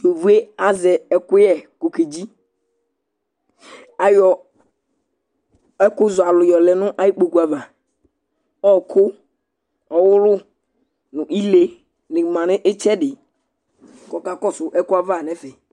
Yovo yɛ azɛ ɛkʋyɛ kʋ okedzi Ayɔ ɛkʋzɔalʋ yɔ lɛn'ayikpoe ava Ɔɔkʋ ,ɔwʋlʋ nʋ ile nɩ ma nʋ ɩtsɛdɩ ,k'ɔka kɔsʋ ɛkʋɛ ava n'ɛfɛ